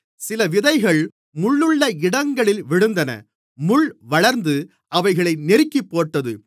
சில விதைகள் முள்ளுள்ள இடங்களில் விழுந்தன முள் வளர்ந்து அவைகளை நெருக்கிப்போட்டது